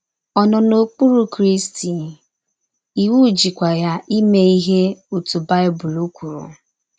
Ọ nọ n’okpụrụ Krịsti, iwụ jịkwa ya ime ihe ọtụ Baịbụl kwụrụ.